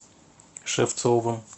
шевцовым